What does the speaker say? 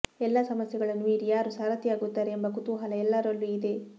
ಎಲ್ಲಾ ಸಮಸ್ಯೆಗಳನ್ನು ಮೀರಿ ಯಾರು ಸಾರಥಿಯಾಗುತ್ತಾರೆ ಎಂಬ ಕುತೂಹಲ ಎಲ್ಲರಲ್ಲೂ ಇದೆ